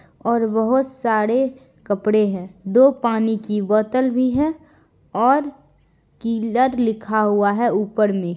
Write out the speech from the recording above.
और बहोत सारे कपड़े हैं दो पानी की बोतल भी है और किलर लिखा हुआ है ऊपर मे।